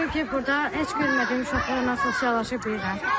Çünki burda heç görmədiyim uşaqlarla sosiallaşa bilirəm.